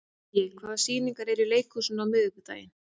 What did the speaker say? Gaui, hvaða sýningar eru í leikhúsinu á miðvikudaginn?